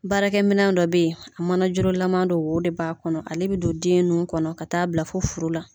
Baarakɛ minan dɔ bɛ ye a mana juru lama wo de b'a kɔnɔ ale bɛ don den nun kɔnɔ ka taa bila fo furu la.